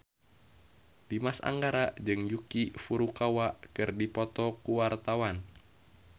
Dimas Anggara jeung Yuki Furukawa keur dipoto ku wartawan